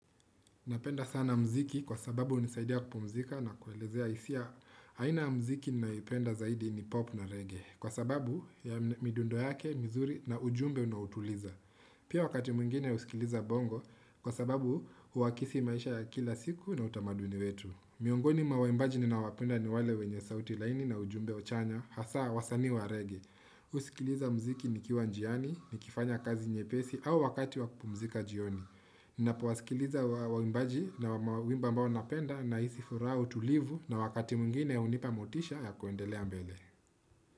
Napenda sana mziki kwa sababu unisaidia kupumzika na kuelezea isia aina ya mziki ninayoipenda zaidi ni pop na reggae. Kwa sababu ya midundo yake, mizuri na ujumbe unaotuliza. Pia wakati mwingine usikiliza bongo kwa sababu uakisi maisha ya kila siku na utamaduni wetu. Miongoni mwa waimbaji ninaowapenda ni wale wenye sauti laini na ujumbe chanya hasa wasanii wa reggae. Usikiliza mziki ni kiwa njiani, ni kifanya kazi nye pesi au wakati wakupumzika jioni. Ninapowasikiliza waimbaji na wimba ambao napenda na isifuraha utulivu na wakati mwingine unipa motisha ya kuendelea mbele.